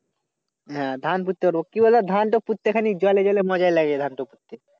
হ্যাঁ। ধান পুত্তে পারবো কি বল ধানটা পুত্তে খালি জলে জলে মজা লাগে ধানটা পুত্তে।